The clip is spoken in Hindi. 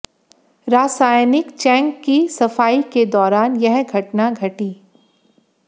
रासायनिक चैंक की सफाई के दौरान यह घटना घटी